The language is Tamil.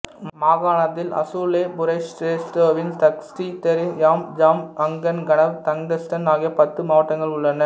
மாகாணத்தில் Asaluyeh Bushehr Dashtestan Dashti Dayyer Deylam Jam Kangan Ganaveh Tangestan ஆகிய பத்து மாவட்டங்கள் உள்ளன